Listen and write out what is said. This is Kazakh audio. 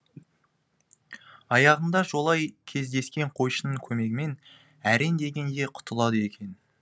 аяғында жолай кездескен қойшының көмегімен әрең дегенде құтылады екен